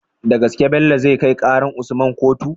Da gaske Bello zai kai karar usman kotu?